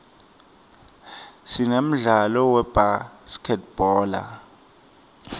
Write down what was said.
sinemdlalo webhaskidbhola